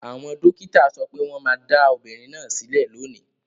Àwọn dókítà sọ pé wọ́n máa dá obìnrin náà sílẹ̀ lónìí.